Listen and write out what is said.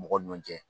Mɔgɔ ɲɔn cɛ